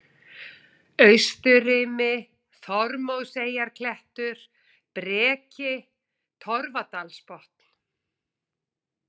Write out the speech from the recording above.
Austurrimi, Þormóðseyjarklettur, Breki, Torfdalsbotn